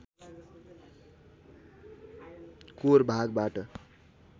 core भागबाट